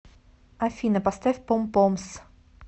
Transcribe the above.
афина поставь пом помс